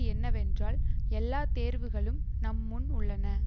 என்னவென்றால் எல்லா தேர்வுகளும் நம் முன் உள்ளன